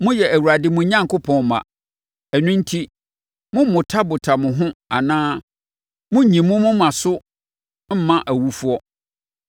Moyɛ Awurade mo Onyankopɔn mma. Ɛno enti mommotabota mo ho anaa monnnyi mo moma so mma awufoɔ,